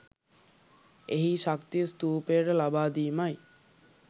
එහි ශක්තිය ස්තූපයට ලබා දීමයි.